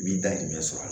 Min dahirimɛ sɔrɔ a la